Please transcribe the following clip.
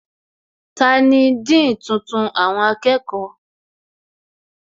Tani Dean tuntun àwọn akẹ́kọ̀ọ́?